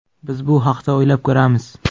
Biz bu haqda o‘ylab ko‘ramiz.